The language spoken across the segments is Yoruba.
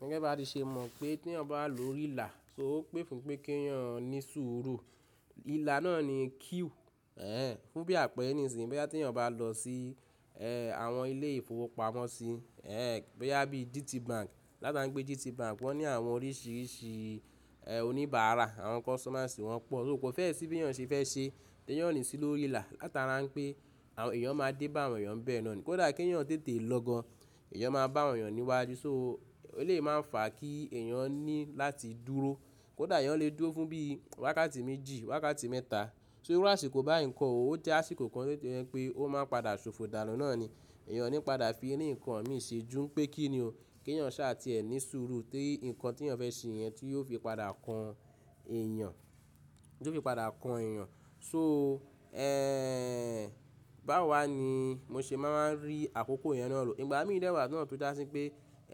Gẹ́gẹ́ bá ti ṣe mọ̀ pé tí ẹyan bà wa lórí ìlà, so o pé fún pé kí ẹyan ní sùúrù. Ìlà náà ni queue. Ẹ̀hẹn, fún bí àpẹẹrẹ nísinyí báyìí tí ẹyan bà lọ sí, ẹ́, àwọn ilé ìfowópamọ́sí, ẹ́, bo yá bí GTBank. Látara pé GTBank wọ́n ní àwọn oríṣìíríṣìí, ẹ́, oníbàárà àwọn customers wọn pọ̀. So kò fẹ́ sí bí ẹyan ṣe fẹ́ ṣe tí ẹyan o ní sì lórí ìlà. Látara pé àwọn èèyàn máa dé bá àwọn èèyàn bẹ́ẹ̀ náà ní. Kódà kí èyán tètè lọ gan, èèyàn máa bá àwọn èèyàn níwájú. So ó lè yí máa fà kí eyan ní láti dúró. Kódà èyán lè dúró fún bí wákàtí méjì, wákàtí mẹ́ta. So iru àsìkò bá ì kọ́ òó o jẹ́ àsìkò kan tó jẹ́ pé ó máa padà ṣòfò. Dánu náà ni ẹ̀yàn ní padà fi rín ǹkan míì ṣe jú pẹ́ kíni o. Kí eyan sá à ti ẹ́ ní surú tí ǹkan tí èyán fẹ́ ṣe yẹn tí yóò fi padà kan èèyàn, tí yóò fi padà kan èèyàn. So, ẹ́, bá wo wá ni mó ṣe máa wá rí àkókò yẹn náà lò. Ìgbà mí dèwàá náà to já sí pé,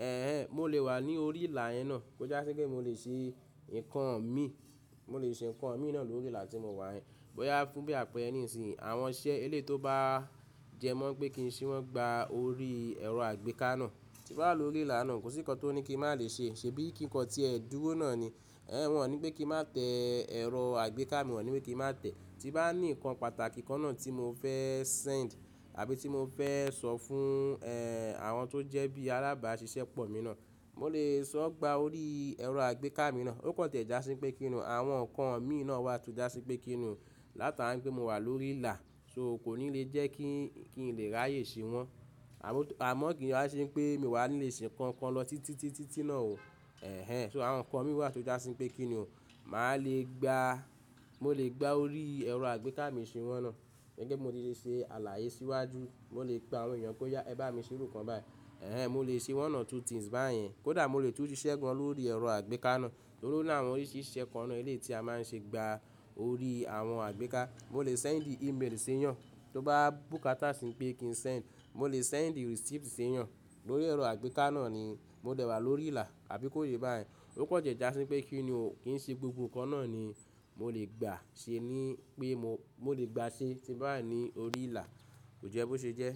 ẹ́hẹn, mó lè wà ní orí ìlà yẹn náà. Tó já sí pé mó lè ṣe ǹkan mí, mó lè ṣe ǹkan míì náà lórí ìlà tí mo wà yẹ̀n. Bó yá fún bí àpẹẹrẹ nísinyí àwọn iṣẹ́ eléyìí tó bá jẹ mọ́ pé kí n ṣe wọ́n gba orí ẹ̀rọ àgbéká náà. Tí bá wà lórí ìlà náà kò sí ǹkan tó ní kí mà lè ṣe. Ṣè bí kí kọ̀ tí ẹ dúró náà ni. Ẹ̀hẹn, wọ́n ò ní pé kí mà tẹ ẹ̀rọ àgbéká mi wọ́n ò ní pé kí mà tẹ́. Tí bá ní ǹkan pàtàkì kan náà tí mo fẹ́ send àbí tí mo fẹ́ sọ fún, ẹ́, àwọn tó jẹ́ bí alábàásisẹ́pọ̀ mi náà, mó lè sọ gba orí ẹ̀rọ àgbéká mi náà. Ó kọ̀ ti ẹ́ já sí pé kíni oo àwọn ǹkan míì náà wà tó já sí pé kíni o látara à ń pé mo wà lórí ìlà. So kò ní le jẹ́ kí, kí n lè ráyè ṣe wọ́n. À mọ́ kí wa ṣe pé mi o wà ní lè ṣe ǹkan kan lọ títítítítí náà ọo. Ẹ̀hẹn, so àwọn ǹkan mí wà tó já sí pé kíni o. Mà lè gba, mó lè gba orí ẹ̀rọ àgbéká mi ṣe wọ́n náà. Gẹ́gẹ́ bi mó ti ṣé ṣe àlàyé síwájú. Mó lè pe àwọn èèyàn pe ó yá, ẹ bá mi ṣe irú kan báyìí. Ẹ̀hẹn, mó lè ṣe one or two things báyẹ́n. Kódà mó lè tún ṣiṣẹ́ gan lórí ẹ̀rọ àgbéká náà. Tórí láwọn oríṣìíríṣìí iṣẹ́ kan náà eléyìí tí a má n ṣe gba orí àwọn àgbéká. Mó lè send email sí èèyàn tó bá bùkátà sí pé kí n send. Mó lè send receipt ṣe èèyàn lórí ẹ̀rọ àgbéká náà ni. Mó dèwàá lórí ìlà àbí kó yé bá yẹn. Ó kọ̀ jẹ́ ẹ já sí pé kíni o kí n ṣe gbogbo ǹkan náà ni mó lè gbà ṣe ní pé mó lè gbà ṣe tí bá wà ní orí ìlà. Kò jẹ́ bó ṣe jẹ́.